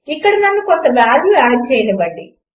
ఇక్కడ నన్ను కొంత వాల్యూ ఆడ్ చేయనివ్వండి